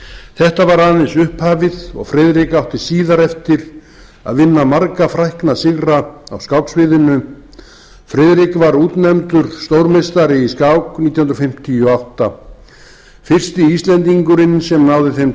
þetta var aðeins upphafið og friðrik átti síðar eftir að vinna marga frækna sigra á skáksviðinu friðrik var útnefndur stórmeistari í skák nítján hundruð fimmtíu og átta fyrsti íslendingurinn sem náði þeim